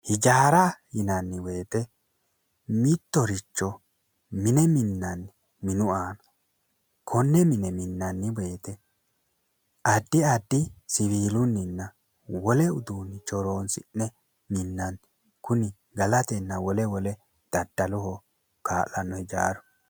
Hijaara yinanni woyite mittoricho mine minanni minu aana konne mine mananni woyite addi addi siwiilunnina wole uduunicho horonisi'ne minanni Kuni galatenna wole wole daddaloho kaa'lano hijaaru